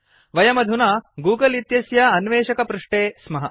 वयमधुना गूगल इतस्य अन्वेषकपृष्ठे स्मः